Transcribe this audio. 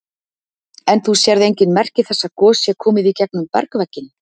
En þú sérð engin merki þess að gos sé komið í gegnum bergvegginn?